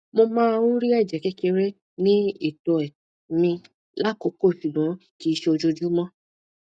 mo máa ń rí ẹjẹ kékeré ní ìtoẹ mi lákòókò ṣùgbọn kìí ṣe ojoojúmọ